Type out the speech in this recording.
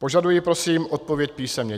Požaduji prosím odpověď písemně.